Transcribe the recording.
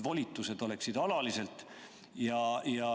Volitused oleksid alalised.